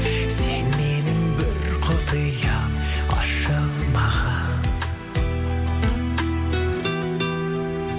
сен менің бір құпиям ашылмаған